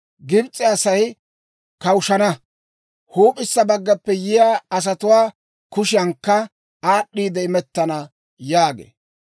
Gibs'e Asay kawushshana; huup'issa baggappe yiyaa asatuwaa kushiyankka aad'd'iide imettana» yaagee.